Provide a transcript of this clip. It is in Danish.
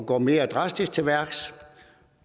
gå mere drastisk til værks